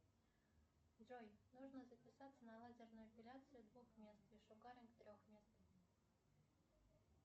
джой нужно записаться на лазерную эпиляцию двух мест и шугаринг трех мест